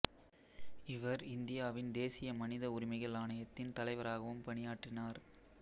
இவர் இந்தியாவின் தேசிய மனித உரிமைகள் ஆணையத்தின் தலைவராகவும் பணியாற்றினார்